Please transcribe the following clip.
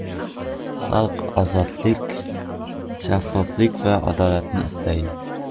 Xalq ozodlik, shaffoflik va adolatni istaydi.